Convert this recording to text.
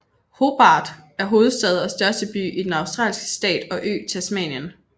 Hobart er hovedstad og største by i den australske stat og ø Tasmanien